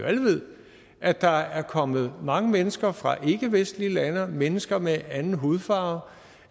at der er kommet mange mennesker fra ikkevestlige lande mennesker med en anden hudfarve